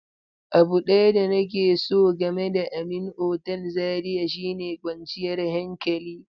Abu ɗaya da nake so game da Amin otal Zaria shine kwanciyar hankali.